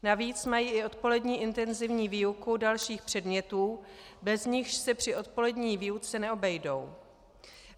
Navíc mají i odpolední intenzivní výuku dalších předmětů, bez nichž se při odpolední výuce neobejdou.